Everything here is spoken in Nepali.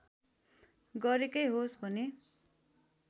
गरेकै होस् भने